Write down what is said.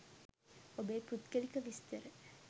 ඔබේ පුද්ගලික විස්තර